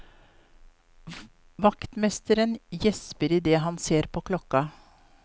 Vaktmesteren gjesper i det han ser på klokka.